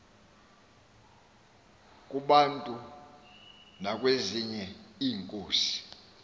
kubantu nakwezinye iinkosi